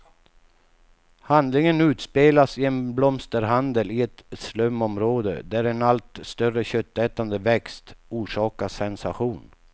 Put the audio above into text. Handlingen utspelas i en blomsterhandel i ett slumområde, där en allt större köttätande växt orsakar sensation.